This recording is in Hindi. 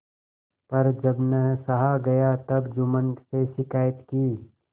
पर जब न सहा गया तब जुम्मन से शिकायत की